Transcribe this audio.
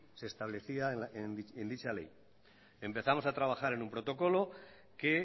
se establecía en dicha ley empezamos a trabajar en un protocolo que